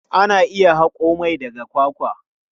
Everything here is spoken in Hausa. Ana iya haƙo mai daga kwakwa.